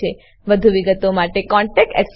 વધુ વિગતો માટે કૃપા કરી contactspoken tutorialorg પર લખો